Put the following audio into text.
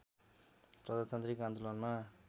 प्रजातान्त्रिक आन्दोलनमा